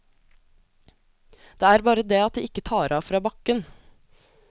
Det er bare det at de ikke tar av fra bakken.